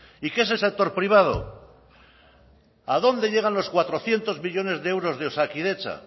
y qué es el sector privado a dónde llegan los cuatrocientos millónes de euros de osakidetza